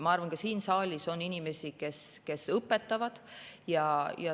Ma arvan, ka siin saalis on inimesi, kes õpetavad.